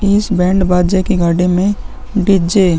इस बैंड बाजे के गाड़ी में डी_जे --